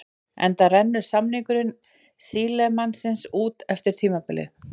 Enda rennur samningur Sílemannsins út eftir tímabilið.